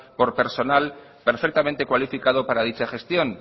por personal perfectamente cualificado para dicha gestión